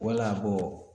Wala